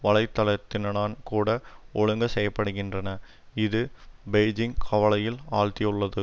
வலைதளத்தினனான் கூட ஒழுங்கு செய்ய படுகின்றன இது பெய்ஜிங் கவலையில் ஆழ்த்தியுள்ளது